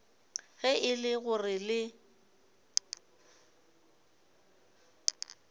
ge e le gore le